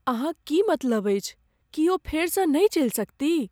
अहाँक की मतलब अछि? की ओ फेरसँ नहि चलि सकतीह?